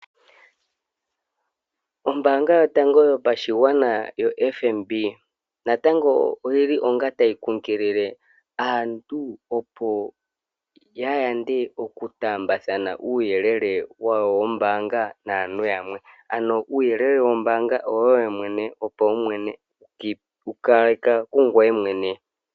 Ombaanga yotango yopashigwana yoFNB, natango oyili tayi kunkilie aantu opo yayande okutaambathana uuyelele wawo wombaanga naantu yamwe. Uuyelele wombaanga owoye mwene, wopaumwene, wukale ka kungoye mwene.